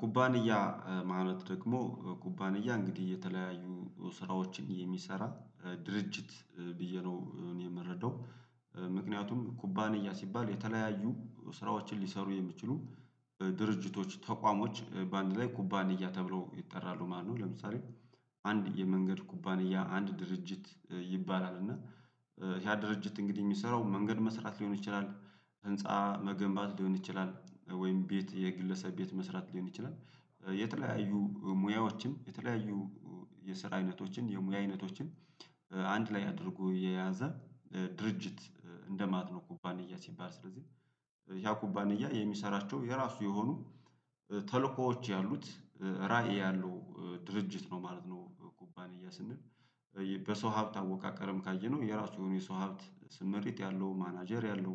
ኩባንያ ማለት ደግሞ ኩባንያ እንግዲህ የተለያዩ ስራዎችን የሚሰራ ድርጅት ብዬ ነው እኔ የምረዳው ምክንያቱም ኩባንያ ሲባል የተለያዩ ስራዎችን ሊሰሩ የሚችሉ ድርጅቶች ተቋሞች በአንድ ላይ ኩባንያ ተብለው ይጠራሉ ማለት ነው። ለምሳሌ አንድ የመንገድ ኩባንያ አንድ ድርጅት ይባላል እና ያ ድርጅት እንግዲህ የሚሰራው መንገድ መስራት ሊሆን ይችላል። ህንፃ መገንባት ሊሆን ይችላል ወይም ቤት የግለሰብ ቤት መስራት ሊሆን ይችላል። የተለያዩ ሙያዎችን የተለያዩ የስራ አይነቶችን የሙያ አይነቶችን አንድ ላይ አድርጎ የያዘ ድርጅት እንደማለት ነው። ኩባንያ ሲባል ስለዚህ ያ ኩባንያ የሚሰራቸው የራሱ የሆኑ ተልእኮዎች ያሉት ራዕይ ያለው ድርጅት ነው ማለት ነው። ኩባንያ ስንል በሰው ሀብት አወቃቀረም ካየነው የራሱ የሆነ የሰው ሀብት ስምሪት ያለው ማናጀር ያለው